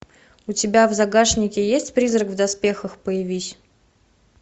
у тебя в загашнике есть призрак в доспехах появись